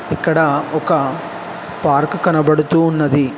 ఇక్కడ ఒక పార్కు కనబడుతూ ఉన్నది.